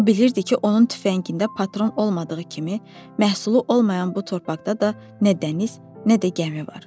O bilirdi ki, onun tüfəngində patron olmadığı kimi, məhsulu olmayan bu torpaqda da nə dəniz, nə də gəmi var.